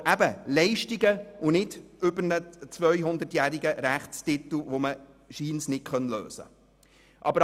Aber eben: Leistungen und nicht ein über 200-jähriger Rechtstitel, den man scheinbar nicht lösen kann.